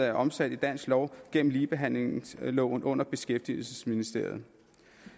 er omsat i dansk lov gennem ligebehandlingsloven under beskæftigelsesministeren